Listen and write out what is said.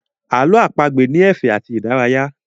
Ààlọ́ àpagbè ni ẹ̀fẹ̀ àti ìdárayá